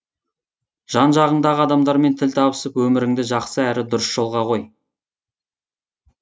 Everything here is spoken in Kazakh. жан жағыңдағы адамдармен тіл табысып өміріңді жақсы әрі дұрыс жолға қой